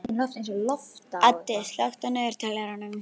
Addi, slökktu á niðurteljaranum.